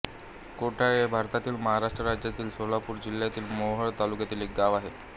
कोठाळे हे भारतातील महाराष्ट्र राज्यातील सोलापूर जिल्ह्यातील मोहोळ तालुक्यातील एक गाव आहे